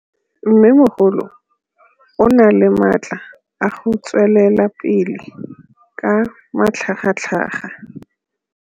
Mmêmogolo o na le matla a go tswelela pele ka matlhagatlhaga.